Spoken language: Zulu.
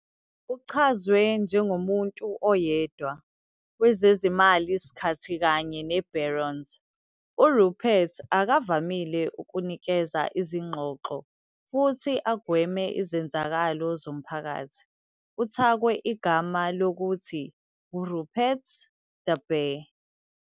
Uchazwe "njengomuntu oyedwa" wezezimali skhathi kanye ne-Barron's, uRupert akavamile ukunikeza izingxoxo futhi agweme izenzakalo zomphakathi. uthakwe igama ngokuthi "Rupert the Bear".